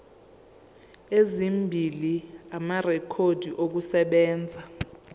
ezimbili amarekhodi okusebenza